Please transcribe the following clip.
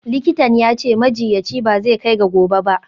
Likitan ya ce, majiyyaci ba zai kai ga gobe ba.